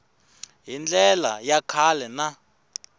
hi ndlela ya kahle na